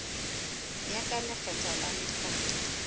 ya ka lekgetho la nakwana